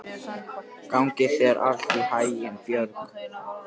Gangi þér allt í haginn, Björg.